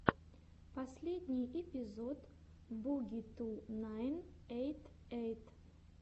последний эпизод буги ту найн эйт эйт